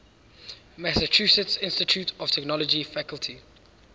massachusetts institute of technology faculty